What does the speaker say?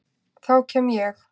Þá kem ég.